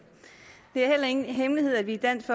det er heller ingen hemmelighed at vi i dansk